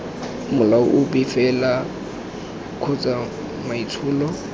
molao ope fela kgotsa maitsholo